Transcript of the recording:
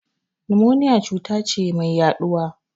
Nimoniya cuta ce mai yaɗuwa.